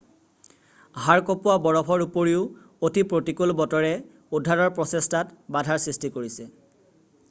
হাড় কঁপোৱা বৰফৰ উপৰিও অতি প্ৰতিকূল বতৰে উদ্ধাৰৰ প্ৰচেষ্টাত বাধাৰ সৃষ্টি কৰিছে